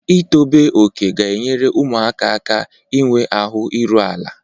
Ịtọbe oke ga-enyere ụmụaka aka inwe ahụ iru ala.